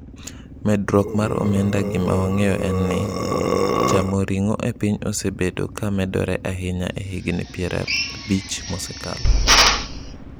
Medruok mar omenda Gima wang’eyo en ni, chamo ring’o e piny osebedo ka medore ahinya e higni piero abich mosekalo.